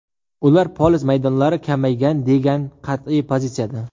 Ular poliz maydonlari kamaygan, degan qat’iy pozitsiyada.